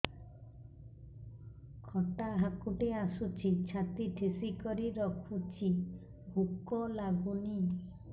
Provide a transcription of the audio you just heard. ଖଟା ହାକୁଟି ଆସୁଛି ଛାତି ଠେସିକରି ରଖୁଛି ଭୁକ ଲାଗୁନି